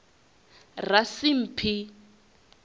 rasimphi